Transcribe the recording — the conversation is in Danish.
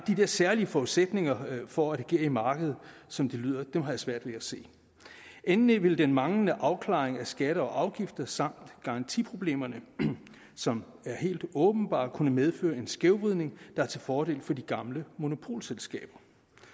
der særlige forudsætninger for at agere i markedet som det lyder har jeg svært ved at se endelig vil den manglende afklaring af skatter og afgifter samt garantiproblemerne som er helt åbenbare kunne medføre en skævvridning der er til fordel for de gamle monopolselskaber